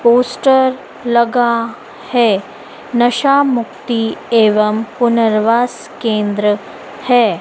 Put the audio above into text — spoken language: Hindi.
पोस्टर लगा है नशा मुक्ति एवं पुनर्वास केंद्र है।